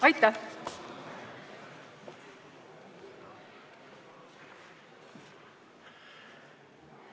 Aitäh!